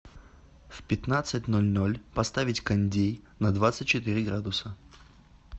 в пятнадцать ноль ноль поставить кондей на двадцать четыре градуса